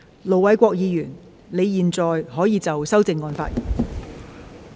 盧偉國議員，你現在可以就修正案發言。